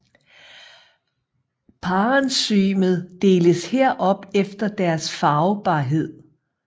Parenchymet deles her op efter deres farvbarhed